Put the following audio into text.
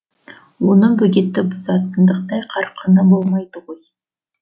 оның бөгетті бұзатындықтай қарқыны болмайды ғой